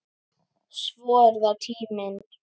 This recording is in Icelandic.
Svo er það tíminn.